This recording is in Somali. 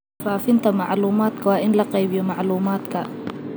Faafinta macluumaadka waa in la qaybiyo macluumaadka.